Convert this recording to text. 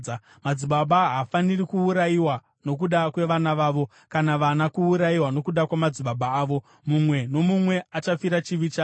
Madzibaba haafaniri kuurayiwa nokuda kwevana vavo, kana vana kuurayiwa nokuda kwamadzibaba avo; mumwe nomumwe achafira chivi chake.